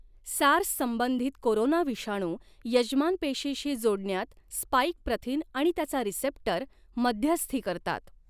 SARS संबंधित कोरोनाविषाणू यजमान पेशीशी जोडण्यात स्पाइक प्रथिन आणि त्याचा रिसेप्टर मध्यस्थी करतात.